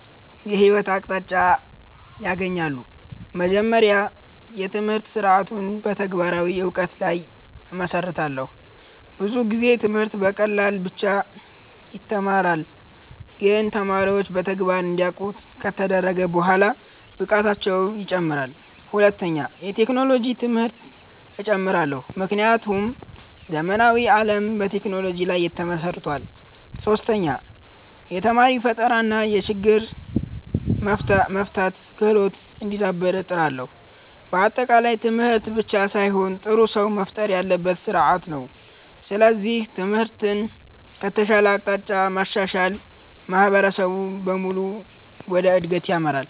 የህይወት አቅጣጫ ያገኛሉ። መጀመሪያ፣ የትምህርት ስርዓቱን በተግባራዊ እውቀት ላይ እመሰርታለሁ። ብዙ ጊዜ ትምህርት በቃላት ብቻ ይተማራል፣ ግን ተማሪዎች በተግባር እንዲያውቁ ከተደረገ በኋላ ብቃታቸው ይጨምራል። ሁለተኛ፣ የቴክኖሎጂ ትምህርት እጨምራለሁ፣ ምክንያቱም ዘመናዊ ዓለም በቴክኖሎጂ ላይ ተመስርቷል። ሶስተኛ፣ የተማሪ ፈጠራ እና የችግር መፍታት ክህሎት እንዲዳብር እጥራለሁ። በአጠቃላይ ትምህርት ብቻ ሳይሆን ጥሩ ሰው መፍጠር ያለበት ስርዓት ነው። ስለዚህ ትምህርትን ከተሻለ አቅጣጫ ማሻሻል ማህበረሰብን በሙሉ ወደ እድገት ይመራል።